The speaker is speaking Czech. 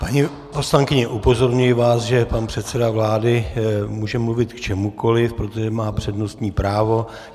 Paní poslankyně, upozorňuji vás, že pan předseda vlády může mluvit k čemukoliv, protože má přednostní právo.